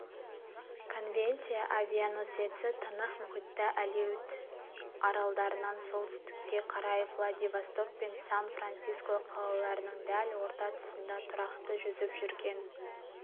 конвенция авианосеці тынық мұхитта алеут аралдарынан солтүстікке қарай владивосток пен сан-франциско қалаларының дәл орта тұсында тұрақты жүзіп жүрген